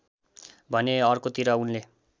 भने अर्कोतिर उनले